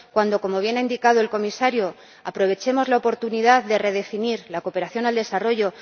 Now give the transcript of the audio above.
cuando, como bien ha indicado el Comisario, aprovechemos la oportunidad de redefinir la cooperación al desarrollo